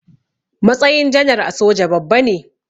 Matsayin janar a soja babba ne.